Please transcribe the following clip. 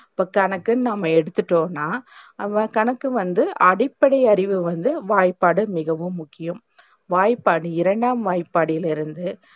இப்போ கணக்குன்னு நாம்ம எடுத்துட்டோம்னா, அந்த கணக்கு வந்து அடிப்படை அறிவு வந்து வாய்ப்பாடு மிகவும் முக்கியம் வாய்ப்பாடு, இரண்டாம் வாய்ப்படிலிருந்து